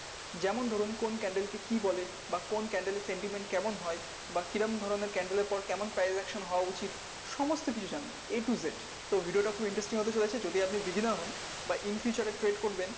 যেমন ধরুন কোন candle কে কী বলে বা কোন candle এর sentiment কেমন হয় বা কী রকম ধরনের candle এর পর কেমন transaction হওয়া উচিত সমস্ত কিছু a to z তো video টা খুব interesting হতে চলেছে যদি আপনি beginner হন বা in future এ trade করবেন